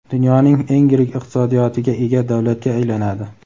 dunyoning eng yirik iqtisodiyotiga ega davlatga aylanadi.